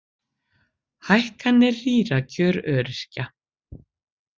Hækkanir rýra kjör öryrkja